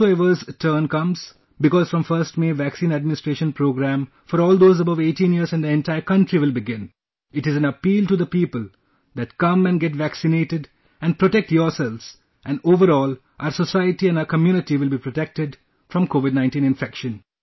Whosoever's turn comes...Because from 1st May, vaccine administration programme for all those above 18 years in the entire country will begin, it is an appeal to the people that come and get vaccinated and protect yourselves and overall, our society and our community will be protected from Covid 19 infection